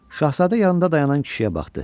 Şahzadə yanında dayanan kişiyə baxdı.